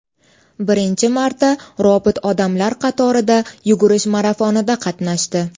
Birinchi marta robot odamlar qatorida yugurish marafonida qatnashdi .